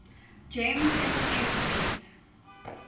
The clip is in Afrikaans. gems sms diens